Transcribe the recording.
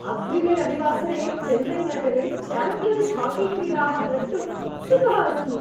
अग्रिमे रविवासरे चेन्नैनगरे च्याम्पियन्स् हाकीक्रीडाः द्रष्टुम् उत्सुकः अस्मि।